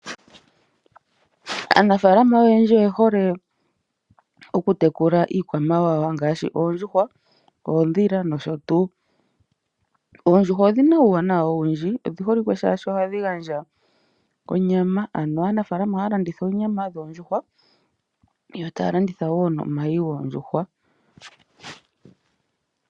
Aanafaalama oyendji oye hole oku tekula iikwamawawa ngaashi oondjuhwa, oondhila nosho tuu. Oondjuhwa odhina uuwanawa owundji odhi holike shaashi ohadhi gandja onyama . Ano aanafaalama ohaya landitha oonyama shoondjuhwa yo taya landitha woo nomayi goondjuhwa.